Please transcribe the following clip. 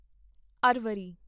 ਅਰਵਰੀ